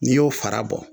N'i y'o fara bɔ